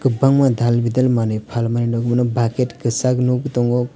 kwbangma dal bidal manwi phalmani nukmano bucket kwchak nukgwi tongo.